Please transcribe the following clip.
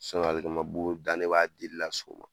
alikama bu dan de b'a dili la sɔgɔma